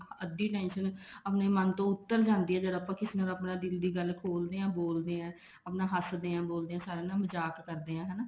ਅੱਧੀ tension ਆਪਣੇ ਮਨ ਤੋਂ ਉੱਤਰ ਜਾਂਦੀ ਹਾਂ ਆਪਾਂ ਕਿਸੇ ਨਾਲ ਦਿਲ ਦੀ ਗੱਲ ਖੋਲਦੇ ਹਾਂ ਬੋਲਦੇ ਹਾਂ ਆਪਣਾ ਹੱਸ ਦੇ ਹਾਂ ਮਜ਼ਾਕ ਕਦੇ ਆ ਹਨਾ